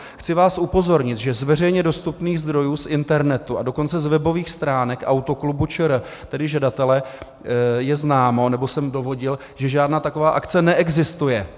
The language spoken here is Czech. Chci vás upozornit, že z veřejně dostupných zdrojů, z internetu, a dokonce z webových stránek Autoklubu ČR, tedy žadatele, je známo, nebo jsem dovodil, že žádná taková akce neexistuje.